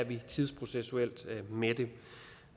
vi er tidsprocessuelt med